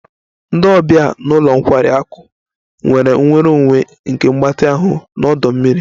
Ndị ọbịa ụlọ nkwari akụ nwere nnwere onwe nke mgbatị ahụ na ọdọ mmiri